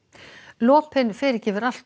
lopinn fyrirgefur allt